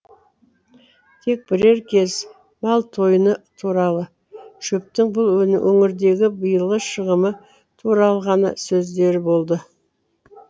тек бірер кез мал тойыны туралы шөптің бұл өңірдегі биылғы шығымы туралы ғана сөздері болды